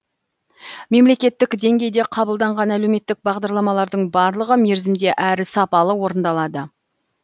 мемлекеттік деңгейде қабылданған әлеуметтік бағдарламалардың барлығы мерзімде әрі сапалы орындалады